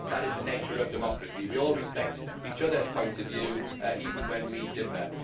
That is the nature of democracy we all respect each others' points of view even when we differ.